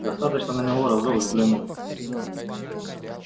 достаточно на него разок взглянуть